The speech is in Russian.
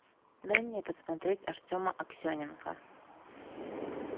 дай мне посмотреть артема аксененко